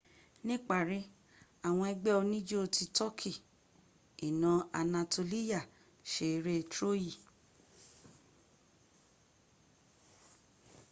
níparí àwọn ẹgbẹ́ oníjó ti tọ́kì iná anatoliya ṣe eré troyi